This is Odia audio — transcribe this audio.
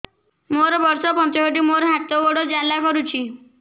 ମୋର ବର୍ଷ ପଞ୍ଚଷଠି ମୋର ହାତ ଗୋଡ଼ ଜାଲା କରୁଛି